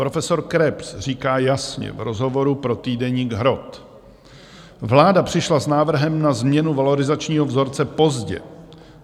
Profesor Krebs říká jasně v rozhovoru pro týdeník Hrot: "Vláda přišla s návrhem na změnu valorizačního vzorce pozdě.